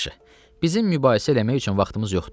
"Yaxşı, bizim mübahisə eləmək üçün vaxtımız yoxdur.